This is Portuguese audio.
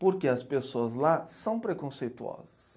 Porque as pessoas lá são preconceituosas.